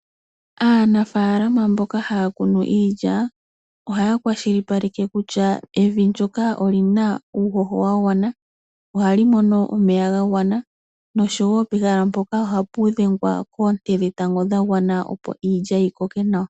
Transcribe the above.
Aanafaalama mboka haya kunu iilya ohaya kwashilipaleke kutya evi ndoka olina uuhoho wagwana, ohali mono omeya gagwana noshowo pehala mpoka ohapu dhengwa koonte dhetango dhagwana opo iilya yikoke nawa.